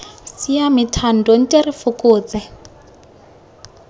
siame thando nte re fokotse